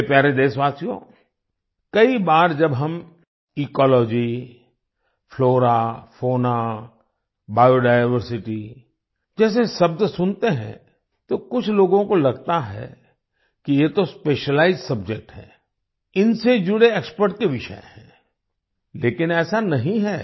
मेरे प्यारे देशवासियो कई बार जब हम ecology flora fauna biodiversity जैसे शब्द सुनते हैं तो कुछ लोगों को लगता है कि ये तो स्पेशलाइज्ड सब्जेक्ट है इनसे जुड़े एक्सपर्ट्स के विषय हैं लेकिन ऐसा नहीं है